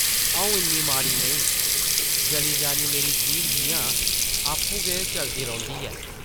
आʼऊं इन्नी माड़ी नेईं, जली जानी मेरी जीह्ब जिʼयां आपूं गै चलदी रौंह्दी ऐ ।